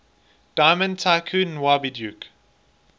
diamond tycoon nwabudike